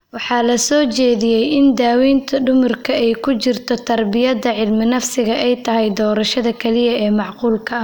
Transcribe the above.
Waxa la soo jeediyay in daawaynta dhimirku (ay ku jirto teraabiyada cilminafsiga) ay tahay doorashada kaliya ee macquulka ah.